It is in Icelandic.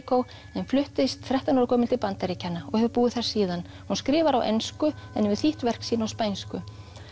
Puerto Rico en fluttist þrettán ára gömul til Bandaríkjanna og hefur búið þar síðan hún skrifar á ensku en hefur þýtt verk sín á spænsku